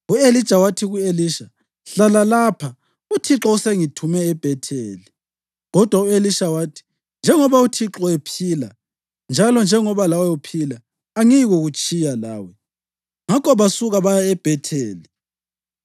U-Elija wathi ku-Elisha, “Hlala lapha; uThixo usengithume eBhetheli.” Kodwa u-Elisha wathi, “Njengoba uThixo ephila njalo njengoba lawe uphila, angiyikutshiyana lawe.” Ngakho basuka baya eBhetheli.